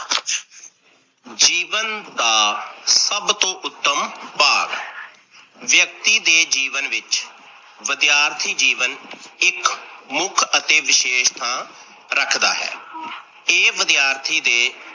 ਜੀਵਨ ਦਾ ਸਭ ਤੋਂ ਉੱਤਮ ਭਾਗ ਵਿਅਕਤੀ ਦੇ ਜੀਵਨ ਵਿੱਚ ਵਿਦਿਆਰਥੀ ਜੀਵਨ ਇੱਕ ਮੁੱਖ ਅਤੇ ਵਿਸ਼ੇਸ਼ ਥਾਂ ਰੱਖਦਾ ਹੈ। ਇਹ ਵਿਦਿਆਰਥੀ ਦੇ